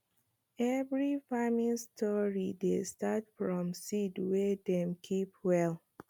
every farming story dey start from seed wey dem keep well